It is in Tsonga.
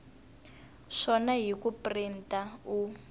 swona hi ku printa u